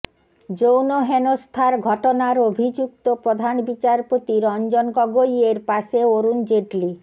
যৌন হেনস্থার ঘটনার অভিযুক্ত প্রধান বিচারপতি রঞ্জন গগৈয়ের পাশে অরুণ জেটলি